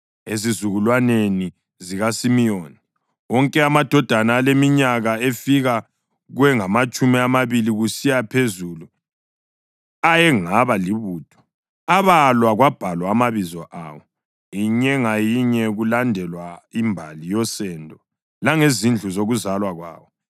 Ezizukulwaneni zikaSimiyoni: Wonke amadoda aleminyaka efika kwengamatshumi amabili kusiya phezulu ayengaba libutho abalwa kwabhalwa amabizo awo, inye ngayinye, kulandelwa imbali yosendo langezindlu zokuzalwa kwawo.